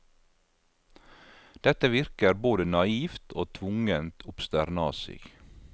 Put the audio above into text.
Dette virker både naivt og tvungent obsternasig.